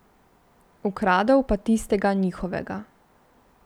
Ukradel pa tistega njihovega.